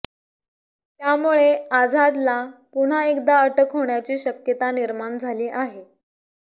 त्यामुळे आझादला पुन्हा एकदा अटक होण्याची शक्यता निर्माण झाली आहे